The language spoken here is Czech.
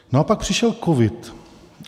No a pak přišel covid.